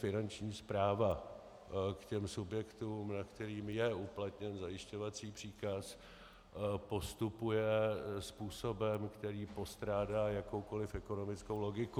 Finanční správa k těm subjektům, nad kterými je uplatněn zajišťovací příkaz, postupuje způsobem, který postrádá jakoukoliv ekonomickou logiku.